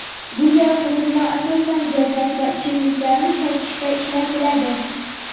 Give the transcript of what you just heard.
Bunday qurilma asosan gazak va ichimliklarni sotishda ishlatiladi.